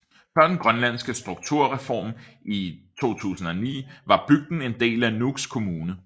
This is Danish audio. Før den grønlandske strukturreform i 2009 var bygden en del af Nuuk Kommune